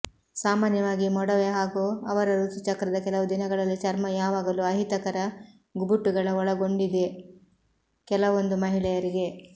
ಸಾಮಾನ್ಯವಾಗಿ ಮೊಡವೆ ಹಾಗೂ ಅವರ ಋತುಚಕ್ರದ ಕೆಲವು ದಿನಗಳಲ್ಲಿ ಚರ್ಮ ಯಾವಾಗಲೂ ಅಹಿತಕರ ಗುಬುಟುಗಳ ಒಳಗೊಂಡಿದೆ ಕೆಲವೊಂದು ಮಹಿಳೆಯರಿಗೆ